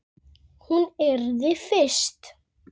Örn, bauðstu henni í bíó?